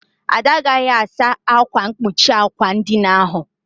Ada agaghị asa ákwà mkpuchi àkwà edina ahụ.